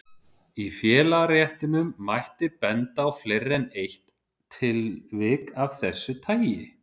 Í félagaréttinum mætti benda á fleiri en eitt tilvik af þessu tagi.